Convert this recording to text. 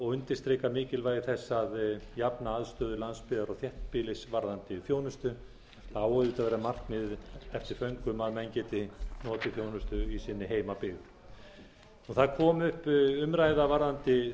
og undirstrika mikilvægi þess að jafna aðstöðu landsbyggðar og þéttbýlis varðandi þjónustu það á auðvitað að vera markmiðið eftir föngum að menn geti notið þjónustu í sinni heimabyggð það kom upp umræða varðandi